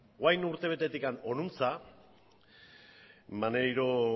orain urte betetik honantz maneiro